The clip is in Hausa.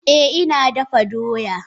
Eh ina dafa doya.